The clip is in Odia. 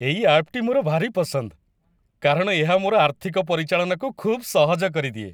ଏହି ଆପ୍‌ଟି ମୋର ଭାରି ପସନ୍ଦ, କାରଣ ଏହା ମୋର ଆର୍ଥିକ ପରିଚାଳନାକୁ ଖୁବ୍ ସହଜ କରିଦିଏ।